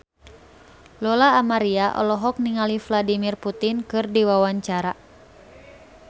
Lola Amaria olohok ningali Vladimir Putin keur diwawancara